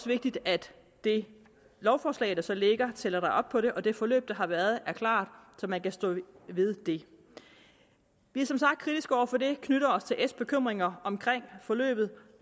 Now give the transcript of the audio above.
vigtigt at det lovforslag der så ligger tæller op på det og at det forløb der har været er klart så man kan stå ved det vi er som sagt kritiske over for det knytter os til s bekymringer omkring forløbet